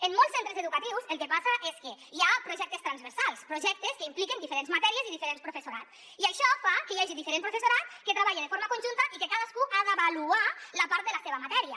en molts centres educatius el que passa és que hi ha projectes transversals projectes que impliquen diferents matèries i diferent professorat i això fa que hi hagi diferent professorat que treballa de forma conjunta i que cadascú ha d’avaluar la part de la seva matèria